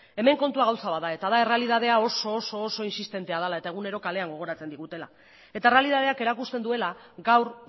hemen kontua gauza bat da eta da errealitatea oso oso oso insistentea dela eta egunero kalean gogoratzen digutela eta errealitateak erakusten duela gaur